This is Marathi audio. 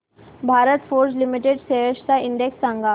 भारत फोर्ज लिमिटेड शेअर्स चा इंडेक्स सांगा